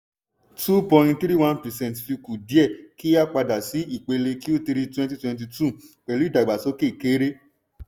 Two point three one percent fi kù díẹ̀ kí á padà sí ìpele q3 twenty twenty two pẹ̀lú ìdàgbásókè kéré.